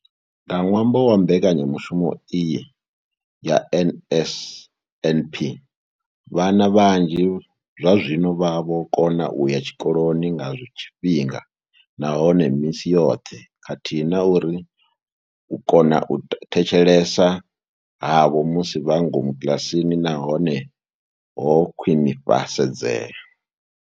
Nga ṅwambo wa mbekanyamushumo iyi ya NSNP, vhana vhanzhi zwazwino vha vho kona u ya tshikoloni nga tshifhinga nahone misi yoṱhe khathihi na uri u kona u thetshelesa havho musi vhe ngomu kiḽasini na hone ho khwinifhadzea.